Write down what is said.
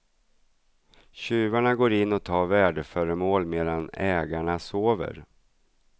Tjuvarna går in och tar värdeföremål medan ägarna sover.